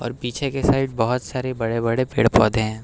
पीछे की साइड बहोत सारे बड़े बड़े पेड़ पौधे हैं।